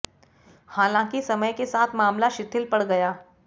हालांकि समय के साथ मामला शिथिल पड़ गया